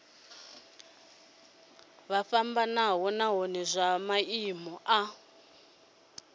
fhambanaho nahone zwa maimo a